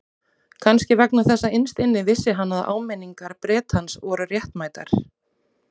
Kannski vegna þess að innst inni vissi hann að áminningar Bretans voru réttmætar.